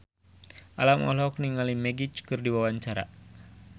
Alam olohok ningali Magic keur diwawancara